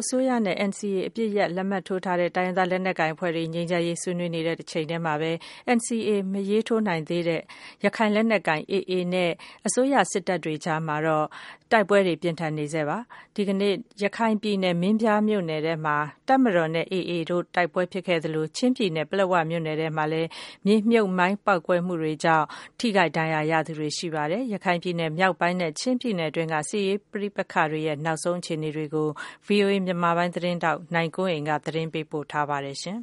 အစိုးရနဲ့NCA အပစ်ရပ်လက်မှတ်ထိုး တိုင်းရင်းသားလက်နက်အဖွဲ့တွေနဲ့ ငြိမ်းချမ်းရေးအတွက် တွေ့ဆုံဆွေး နွေးနေတဲ့တချိန်ထဲမှာဘဲ NCA မထိုးနိုင်သေးတဲ့ ရခိုင်လက်နက်ကိုင် AA နဲ့မြန်မာစစ်တပ်တို့ အကြား တိုက်ပွဲပြင်းထန် ဖြစ်ပွားနေဆဲဖြစ်ပါတယ်။ ဒီကနေ့မှာ ရခိုင်ပြည်နယ်၊ မင်းပြားမြို့နယ် ထဲမှာ တပ်မတော်နဲ့AAအဖွဲ့တို့ တိုက် ပွဲဖြစ်နေဆဲ ဖြစ်သလို ချင်းပြည်နယ် ပလက်ဝမြို့နယ်ထဲမှာလည်း မြေမြှုပ်မိုင်း ပေါက်ကွဲမှုတွေကြောင့် ထိခိုက်ဒဏ်ရာရ သူတွေ ရှိနေပါတယ်။ တည်ငြိမ်မှု မရှိတဲ့ ရခိုင်ပြည်နယ် မြောက်ပိုင်း နဲ့ ချင်းပြည်နယ် အတွင်းက စစ်ရေးနောက်ဆုံး အ ခြေနေတွေကို ဗွီအိုအေမြန်မာပိုင်း သတင်းထောက်နိုင်ကွန်းအိန်ကနေ သတင်းပေးပို့ထားပါတယ်။ ရခို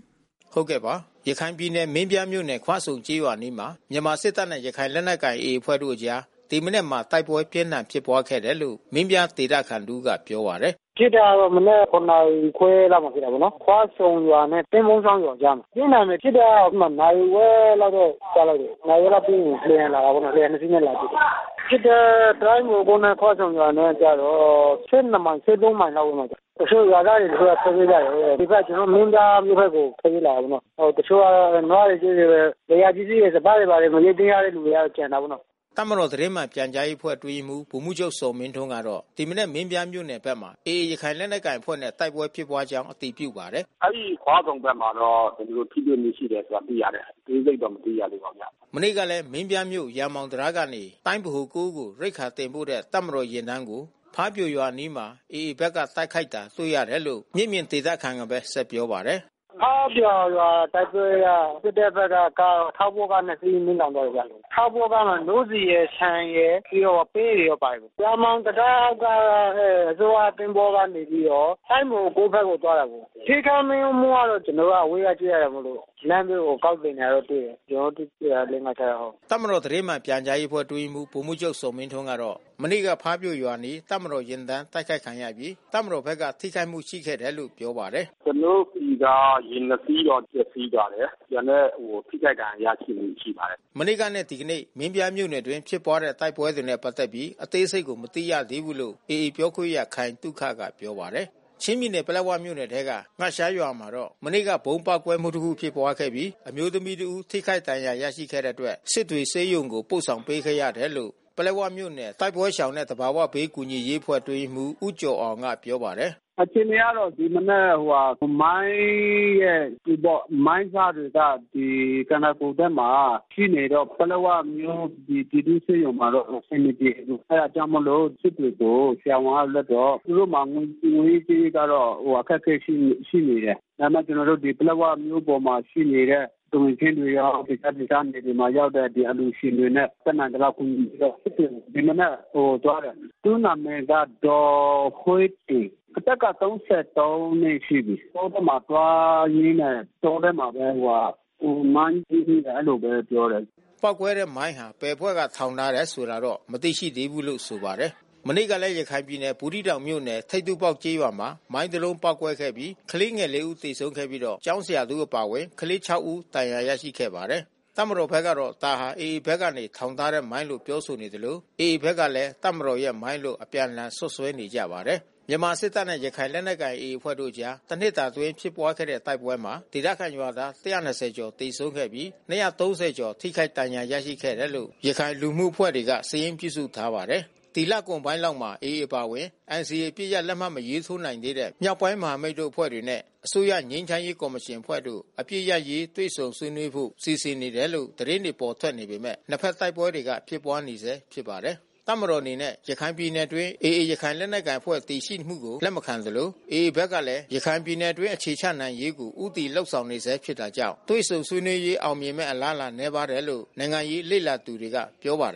င်ပြည်နယ်၊ မင်းပြားမြို့နယ်၊ ခွဆုံကျေးရွာအနီးမှာ မြန်မာစစ်တပ်နဲ့ ရခိုင်လက်နက်ကိုင် AA အဖွဲ့တို့အကြား ဒီမနက်မှာ တိုက်ပွဲပြင်းထန်ဖြစ်ခဲ့တယ်လို့ မင်းပြားဒေသခံတဦးကပြောပါတယ်။ “ဖြစ်တာတော့ မနက် နာရီခွဲလောက်ဖြစ်တာပေါ့နော်။ ခွဆုံရွာနဲ့သင်းပုန်းချောင်းရွာ အနားမှာ။ ပြင်းထန်မယ်။ အဲဒီမှာ နာရီဝက်လောက်တော့ကြားရတယ်။ နာရီဝက်လောက်ပြီးရင် လေယာဉ် လာတာပေါ့နော်။ လေယာဉ်နှစ်စီးနဲ့ လာပစ် တယ်။ ဖြစ်တဲ့တိုင်း ဗဟို နဲ့ခွဆုံရွာနဲ့ ကျတော့ မိုင် မိုင်လောက်ဝေးမယ်။ တချို့ရွာသားတွေကတော့ ထွက် ပြေးကြတယ်။ ဒီဘက် မင်းပြားမြို့ ကိုထွက်ပြေးလာတယ်နော။ တချို့ကနွားတွေကျွဲတွေ လယ်ယာပစ္စည်းတွေ စပါး တွေဘာတွေ မရိတ်သိမ်းရတဲ့သူတွေ ကျန်တာပေါ့နော်။” တပ်မတော်သတင်းမှန်ပြန်ကြားရေးအဖွဲ့အတွင်းရေးမှူး ဗိုလ်မှူးချုပ်ဇော်မင်းထွန်းကတော့ ဒီမနက်မင်းပြားမြို့နယ် မှာ AAရခိုင်လက်နက်ကိုင်အဖွဲ့နဲ့တိုက်ပွဲဖြစ်ပွားကြောင်းအတည်ပြုပါတယ်။ “အဲဒီခွဆုံဘက်မှာ တော့ ကျွန်တော်တို့ထိတွေ မှုဖြစ်ပွါးခဲ့တယ်ဆိုတာတော့သိရတယ်။ အသေးစိတ်တော့ မသိရသေး ဘူးဗျ။” မနေ့ကလဲ မင်းပြားမြို့ ရာမောင်တံတားကနေ တိုင်းဗဟို ကို စစ်ရိက္ခာ တင်ပို့တဲ့ တပ်မတော်ယာဉ်တန်းကို ဖါးပြိုရွာ အနီးမှာ AAဘက်က တိုက်ခိုက်တာ တွေ့ရတယ်လို့ မျက်မြင်ဒေသခံကဘဲ ဆက် ပြောပါတယ်။ “ဖားပြိုရွာ တိုက်ပွဲက စစ်တပ်ဘက်က ထောက်ပို့ကားနှစ်စီး မီးလောင်သွားတယ်ဗျ။ ထောက်ပို့ကားမှာ နို့ဆီရယ် ၊ ဆန်ရယ် ပြီးတော့ ပဲတွေတော့ပါတယ်ဗျ။ ရာမောင်တံတားက သူတို့ကသင်္ဘောနဲ့နေပြီးတော့ တိုင်းဗဟို ဘက်ကိုသွားတယ်။ ထိခိုက်မှုကတော့ ကျွန်တော်တို့အဝေးကကြည့်ရတာမို့လို့ လမ်းဘေးကိုကောက်တင်တာတော့တွေ့တယ်။ ကျွန် တော်တို့တွေ့တာ လေး၊ ငါး ၊ခြောက်ယောက်ဟုတ်။” တပ်မတော်သတင်းမှန်ပြန်ကြားရေးအဖွဲ့ အတွင်းရေးမှူး ဗိုလ်မှူးချုပ်ဇော်မင်းထွန်း ကတော့ မနေ့က ဖားပြိုရွာအနီး တပ်မတော်ယာဉ်တန်းတိုက်ခိုက်ခံရပြီး တပ်မတော်ဘက်က ထိခိုက်မှုရှိခဲ့တယ် လို့ပြောပါတယ်။ “ကျွန်တော်တို့ဆီက ယာဉ်နှစ်စီးတော့ ပျက်စီးပါတယ်။ ကျန်တဲ့ထိခိုက်ဒဏ်ရာရရှိမှု ရှိပါတယ်။” မနေ့ကနဲ့ဒီကနေ့ မင်းပြားမြို့နယ်အတွင်း ဖြစ်ပွားတဲ့ တိုက်ပွဲ တွေနဲ့ ပတ်သက်ပြီး အသေးစိတ်ကို မသိရသေးဘူးလို့ AAပြောခွင့်ရ ခိုင်သုခ က ပြောပါတယ်။ ချင်းပြည်နယ်၊ ပလက်ဝမြို့နယ်ထဲက ၊ ငရှားကျေးရွာမှာ တော့ မနေ့က ဗုံးပေါက်ကွဲမှု တခု ဖြစ်ခဲ့ပြီး အမျိုးသမီး တဦး ထိခိုက်ဒဏ်ရာ ရခဲ့တဲ့အတွက် စစ်တွေဆေးရုံကို ပို့ဆောင်ပေး ခဲ့ရတယ်လို့ ပလက်ဝမြို့နယ် တိုက်ပွဲရှောင် နဲ့သဘာဝဘေးကူညီရေးအဖွဲ့ အတွင်း ရေးမှူး ဦးကျော်အောင်က ပြောပါတယ်။ “အခြေအနေကတော့ ဒီမနက်ဟိုဟာ မိုင်းရဲ့ကျည်ပေါ့။ မိုင်းစတွေက ဒီခန္ဒာကိုယ်ဘက်မှာ ထိနေတော့ ပလက်ဝမြို့ ပြည်သူ့ဆေးရုံမှတော့ အဆင်မပြေဘူး။ အဲတာကြောင့်မို့လို့ စစ်တွေကို ဆရာဝန်က လွှတ်တော့ သူတို့မှာ ငွေရေး ကြေး ရေးကတော့ အခက်ခဲရှိနေတယ်။ ဒါပေမဲ့ ကျွန်တော်တို့ ဒီပလက်ဝမြို့ပေါ်မှာ ရှိနေတဲ့ သူငယ်ချင်းတွေရော တခြားဒေသ မြေတွေမှာရောက်တဲ့အလှူရှင်တွေနဲ့ တတ်နိုင်သလောက် ကူညီတော့ စစ်တွေကို ဒီမနက်သွားတယ်။ သူ့နာမည်က ဒေါ်ဟွေ့တင် အသက်က နှစ်ရှိပြီး။ တောထဲမှာ သွားရင်းနဲ့တောထဲမှာဘဲ သူမိုင်းနင်းမိတယ် အဲဒီလိုဘဲပြောတယ်။” ပေါက်ကွဲတဲ့မိုင်းဟာ ဘယ်အဖွဲ့ကထောင်ထားတယ် ဆိုတာတော့ မသိရှိဘူးလို့ဆိုပါတယ်။ မနေ့ကလဲ ရခိုင်ပြည်နယ် ဘူးသီးတောင်မြို့နယ် ထိပ်တူးပေါက်ကျေးရွာမှာ မိုင်းတလုံးပေါက်ကွဲခဲ့ပြီး ကလေးငယ် ဦး သေဆုံးခဲ့ပြီးတော့ ကျောင်းဆရာတဦး အပါဝင် ကလေးငယ် ဦး ဒဏ်ရာရရှိခဲ့ပါတယ်။ တပ်မတော်ဘက်က ဒါဟာ AAအဖွဲ့ကနေထောင်ထားတဲ့ မိုင်းလို့ပြောဆိုနေသလို AA ဘက်ကလည်း တပ်မတော်ရဲ့ မိုင်းလို့ အပြန်လှန်စွပ်စွဲနေကြပါတယ်။ မြန်မာစစ်တပ်နဲ့ရခိုင်လက်နက်ကိုင် AA အဖွဲ့တို့အကြား တနှစ်တာ အတွင်းဖြစ်ပွားတဲ့တိုက်ပွဲမှာ ဒေသခံရွာသား ကျော် သေဆုံးခဲ့ပြီး ကျော် ထိခိုက်ဒဏ်ရာရရှိခဲ့တယ်လို့ ရခိုင်လူမှု အဖွဲ့တွေက စာရင်းပြုစုထားပါတယ်။ ဒီလကုန်ပိုင်းလောက်မှာ AAအပါအဝင် NCA အပစ်ရပ် လက်မှတ်မထိုးနိုင်သေးတဲ့ မြောက်ပိုင်း မဟာမိတ် တို့အဖွဲ့တွေ နဲ့ အစိုးရငြိမ်းချမ်းရေး ကော်မရှင်အဖွဲ့တို့ အပစ်ရပ်ရေး တွေ့ဆုံညှိနှိုင်းဖို့ စီစဉ်နေတယ်လို့ သတင်းတွေထွက် ပေါ်နေပေမဲ့ နှစ်ဖက်တိုက်ပွဲတွေက ဖြစ်ပွားနေဆဲဖြစ်ပါတယ်။ တပ်မတော်အနေနဲ့ ရခိုင်ပြည်နယ်အတွင်း AAရခိုင်လက်နက်ကိုင် အဖွဲ့တည်ရှိမှုကို လက်မခံသလို AAဘက်ကလဲ ရခိုင်ပြည်နယ်အတွင်း အခြေချနိုင်ရေးကို ဦးတည်လုပ်ဆောင်နေဆဲ ဖြစ်တာကြောင့် တွေ့ဆုံ ဆွေးနွေးရေး အောင်မြင်မယ့် အလားအလာ နည်းပါးတယ်လို့ နိုင်ငံရေးလေ့လာသူတွေက ပြောပါတယ်